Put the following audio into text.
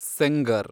Sengar